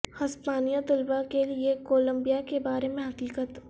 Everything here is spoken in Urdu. ہسپانوی طلباء کے لئے کولمبیا کے بارے میں حقیقت